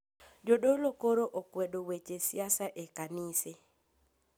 Jodolo koro okwedo weche siasa e kanise